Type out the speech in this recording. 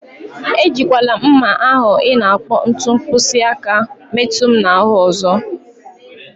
Ejikwala mma ahụ ị na-akpọ ntu mkpịsị aka metu m na ahụ ọzọ.